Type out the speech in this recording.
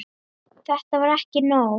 Þetta var ekki nóg.